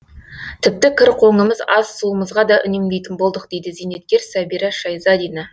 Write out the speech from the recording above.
тіпті кір қоңымыз ас суымызға да үнемдейтін болдық дейді зейнеткер сәбира шайзадина